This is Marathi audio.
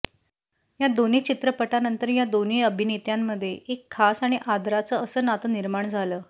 या दोन्ही चित्रपटांनंतर या दोन्ही अभिनेत्यांमध्ये एक खास आणि आदराचं असं नातं निर्माण झालं